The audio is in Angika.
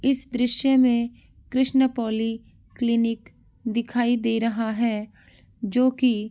इस दृश्य में कृष्ण पोली क्लिनिक दिखाई दे रहा है जो की --